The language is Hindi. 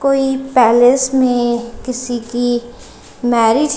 कोई पैलेस में किसी की मैरिज --